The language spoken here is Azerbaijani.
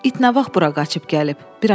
“İt nə vaxt bura qaçıb gəlib?”